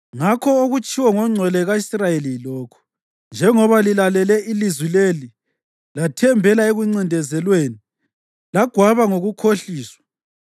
Ngakho okutshiwo ngoNgcwele ka-Israyeli yilokhu: “Njengoba lilalile ilizwi leli, lathembela ekuncindezelweni, lagwaba ngokukhohliswa,